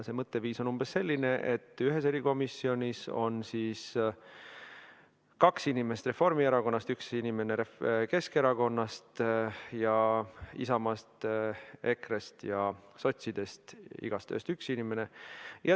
See mõtteviis on umbes selline: ühes erikomisjonis on kaks inimest Reformierakonnast ja üks inimene Keskerakonnast ning Isamaast, EKRE-st ja Sotsiaaldemokraatlikust Erakonnast on igast ühest üks inimene.